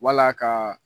Wala ka